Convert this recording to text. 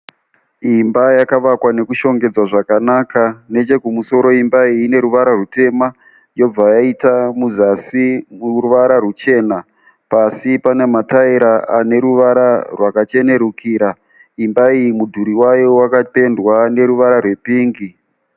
Imba yakavakwa nekushongedzwa zvakanaka nechekumusoro imba iyi ine ruvara rutema yobva yaita muzasi ruvara ruchena. Pasi pana mataera ane ruvara rwakachenerukira. Imba iyi mudhuri wayo wakapendwa neruvara rwepingi.